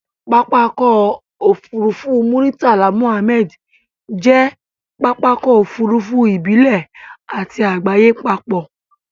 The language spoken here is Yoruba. Pápákọ̀ òfurufú Muritala Muhammed jẹ́ pápákọ̀ òfurufú ìbílẹ̀ àti àgbáyé papọ̀.